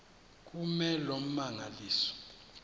kume loo mmangaliso